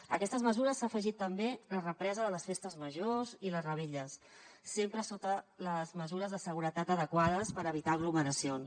a aquestes mesures s’ha afegit també la represa de les festes majors i les revetlles sempre sota les mesures de seguretat adequades per evitar aglomeracions